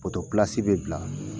be bila